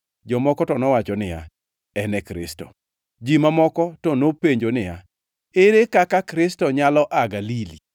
Jomoko to nowacho niya, “En e Kristo.” Ji mamoko to nopenjo niya, “Ere kaka Kristo nyalo aa Galili?